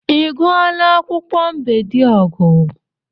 I gụọla akwụkwọ Mbediogu'?